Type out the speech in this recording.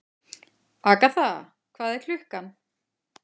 Agatha, hvað er klukkan?